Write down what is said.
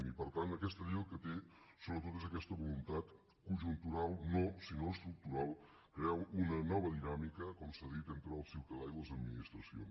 i per tant aquesta llei el que té sobretot no és aquesta voluntat conjuntural sinó estructural crear una nova dinàmica com s’ha dit entre el ciutadà i les administracions